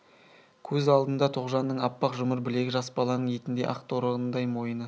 көз алдында тоғжанның аппақ жұмыр білегі жас баланың етіндей ақ торғындай мойыны